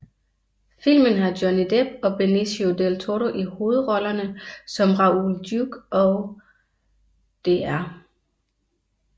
Filmen har Johnny Depp og Benicio del Toro i hovedrollerne som Raoul Duke og Dr